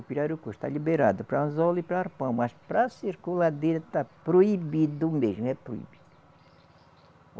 O pirarucu está liberado para anzol e para arpão, mas para circuladeira está proibido mesmo, é proibido.